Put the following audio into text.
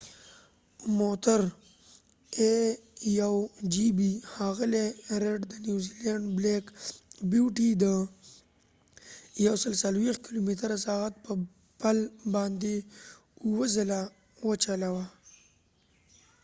ښاغلي ریډ د نیوزیلینډ a1gp موټر، بلیک بیوټی د ۱۶۰ کلومیتره/ساعت په پل باندي اووه ځله وچلوه